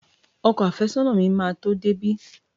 Ọkọ àfẹ́sọ́nà mi máa tó dé bí.